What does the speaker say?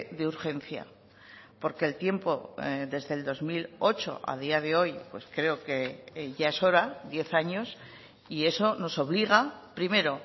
de urgencia porque el tiempo desde el dos mil ocho a día de hoy pues creo que ya es hora diez años y eso nos obliga primero